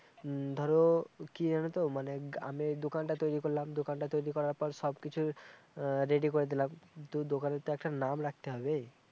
ধরো, কি জানো তো মানে আমি দোকানটা তৈরি করলাম দোকানটা তরি করার পর সব কিছু আহ রেডি করে দিলাম তো দোকানের তো একটা নাম রাখতে হবে